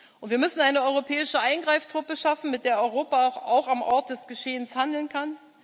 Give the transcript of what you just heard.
Und wir müssen eine europäische Eingreiftruppe schaffen, mit der Europa auch am Ort des Geschehens handeln kann.